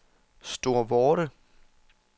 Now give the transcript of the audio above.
Storvorde